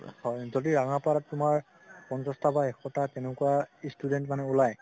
যদি ৰাঙাপাৰাত তুমাৰ পঞ্চাছটা বা এশটা তেনেকুৱা student মানে উলাই